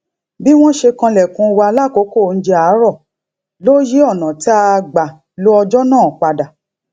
bí wón ṣe kanlèkùn wa lákòókò oúnjẹ àárò ló yí ònà tá a gbà lo ọjó náà pa dà